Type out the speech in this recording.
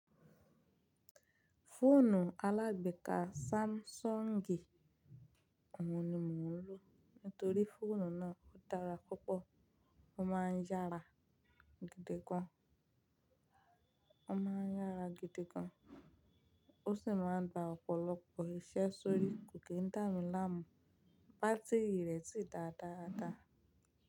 Fóònù alágbeeka Samsungi òun ni mò ń lò. Nítorí fóònù náà ó dára púpọ̀, ó máa ń yára gidi gan, ó máa ń yára gidi gan, ó sì máa ń gba ọ̀pọ̀lọpọ̀ iṣẹ́ sórí kò kíń dámiláàmú. Bátírì rẹ̀ sì dáa dáa dáa.